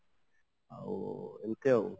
ଏମିତି ଆଉ